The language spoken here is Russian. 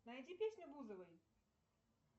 найди песню бузовой